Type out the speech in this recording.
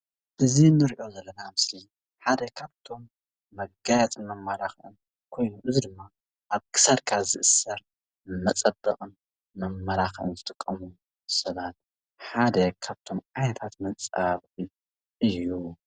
እዚ ንሪኦ ዘለና ምስሊ ሓደ ካብቶም መጋየፅን መመላክዕን ኮይኑ እዚ ድማ ኣብ ክሳድካ ዝእሰር መፀበቕን መመላክዕን ዝጥቀምሉ ሰባት ሓደ ካብቶም ዓይነታት መፀባበቒ እዩ፡፡